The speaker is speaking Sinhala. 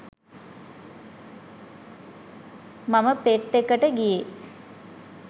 මම පෙට් එකට ගියේ.